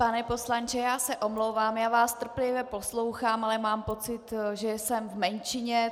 Pane poslanče, já se omlouvám, já vás trpělivě poslouchám, ale mám pocit, že jsem v menšině.